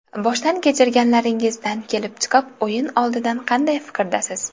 Boshdan kechirganlaringizdan kelib chiqib, o‘yin oldidan qanday fikrdasiz?